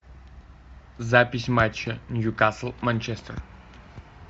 запись матча ньюкасл манчестер